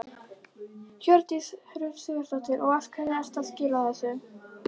Hjördís Rut Sigurjónsdóttir: Og af hverju ertu að skila þessu?